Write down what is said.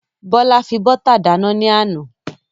Bọ́lá fi bọ́tà dáná ní àná.